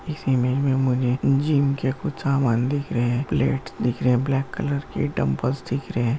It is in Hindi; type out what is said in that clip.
इस इमेज में मुझे जिम के कुछ सामान दिख रहे है प्लेट्स दिख रहे है ब्लैक कलर के डंबल्स दिख रहे है।